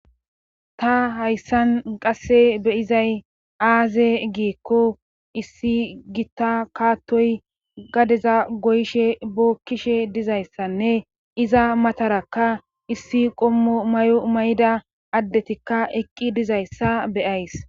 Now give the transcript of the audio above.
ta hayssan qasse be'izay aaze giikko issi gitta kaattoy gadeza goyshe bookkishe dizayssanne iza matarakka issi qommo mayo mayida addetikka eqqi dizayssa beyayis